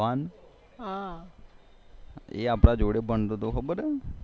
એ આપડા જોડે ભણતો તો ખબર છે